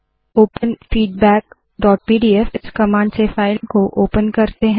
open feedbackpdfइस command से file को ओपन करते है